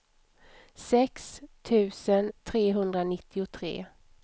sex tusen trehundranittiotre